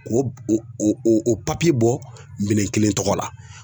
K'o o bɔ minɛn kelen tɔgɔ la